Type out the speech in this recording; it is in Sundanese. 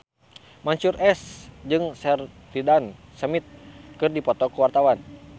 Mansyur S jeung Sheridan Smith keur dipoto ku wartawan